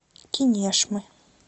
кинешмы